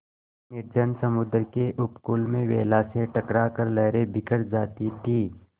निर्जन समुद्र के उपकूल में वेला से टकरा कर लहरें बिखर जाती थीं